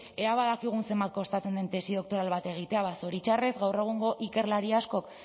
ea badakigun zenbat kostatzen den tesi doktoral bat egitea ba zoritxarrez gaur egungo ikerlari askok